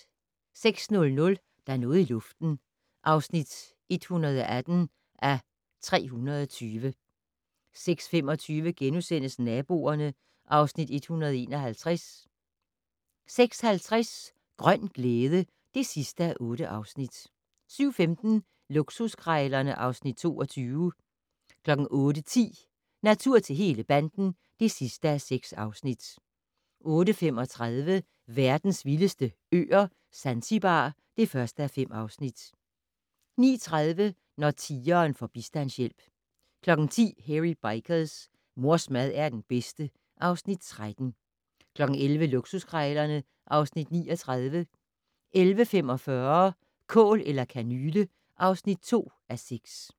06:00: Der er noget i luften (118:320) 06:25: Naboerne (Afs. 151)* 06:50: Grøn glæde (8:8) 07:15: Luksuskrejlerne (Afs. 22) 08:10: Natur til hele banden (6:6) 08:35: Verdens vildeste øer - Zanzibar (1:5) 09:30: Når tigeren får bistandshjælp 10:00: Hairy Bikers: Mors mad er den bedste (Afs. 13) 11:00: Luksuskrejlerne (Afs. 39) 11:45: Kål eller kanyle (2:6)